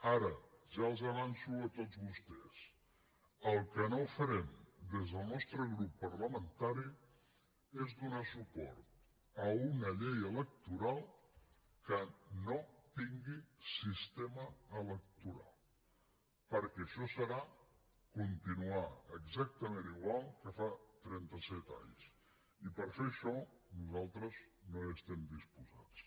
ara ja els avanço a tots vostès el que no farem des del nostre grup parlamentari és donar suport a una llei electoral que no tingui sistema electoral perquè això serà continuar exactament igual que fa trenta set anys i per fer això nosaltres no hi estem disposats